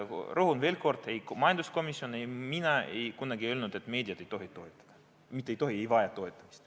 Rõhutan veel kord: ei majanduskomisjon ega mina kunagi ei ole öelnud, et meedia ei vaja toetamist.